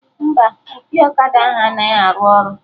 Mba, opi ọkada ahụ anaghị arụ ọrụ